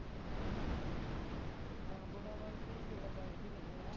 ਹਾਂ ਬੋੜਾਵਾਲ ਗੇੜਾ ਬਜਦਾ ਈ ਰਹਿੰਦਾ ਹੈਗਾ